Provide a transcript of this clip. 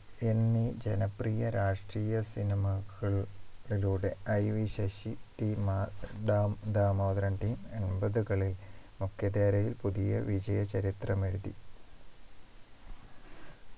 എന്നീ ജനപ്രിയ രാഷ്ട്രീയ cinema കൾ കളിലൂടെ IV ശശി T മ ദം ദാമോദരൻ T എൺപത്കളിയിൽ മുഖ്യധാരയിൽ പുതിയ വിജയ ചരിത്രമെഴുതി